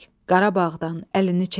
Qarabağdan əlini çək.